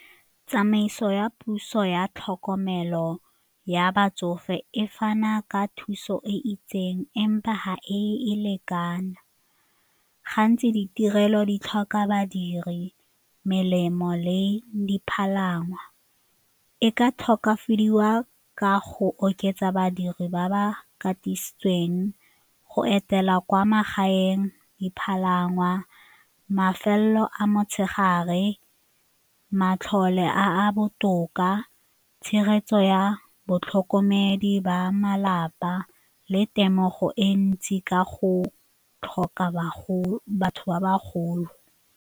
Tsamaiso ya puso ya tlhokomelo ya batsofe e fana ka thuso e itseng empa ga e e lekane, gantsi ditirelo di tlhoka badiri melemo le dipalangwa e ka tokafadiwa ka go oketsa badiri ba ba katisitsweng, go etela kwa magaeng, dipalangwa, mafelo a motshegare, matlole a a botoka, tshegetso ya batlhokomedi ba malapa le temogo e ntsi ka go tlhoka ba bagolo.